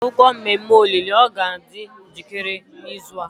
akwukwuo mmemme olili o ga adi njikere n'izu a?